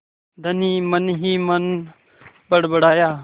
धनी मनहीमन बड़बड़ाया